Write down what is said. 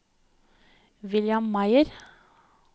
William Meyer